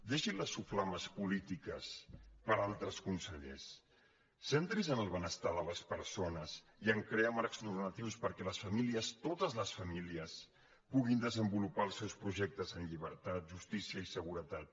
deixi les soflames polítiques per a altres consellers centri’s en el benestar de les persones i a crear marcs normatius perquè les famílies totes les famílies puguin desenvolupar els seus projectes en llibertat justícia i seguretat